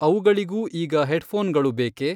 ಅವುಗಳಿಗೂ ಈಗ ಹೆಡ್ಫೋನ್ಗಳು ಬೇಕೇ?